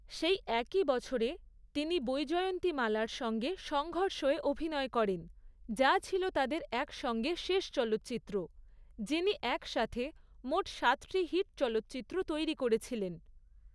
সেই একই বছরে, তিনি বৈজয়ন্তীমালা'র সঙ্গে সংঘর্ষে অভিনয় করেন, যা ছিল তাদের একসঙ্গে শেষ চলচ্চিত্র, যিনি একসাথে মোট সাতটি হিট চলচ্চিত্র তৈরি করেছিলেন।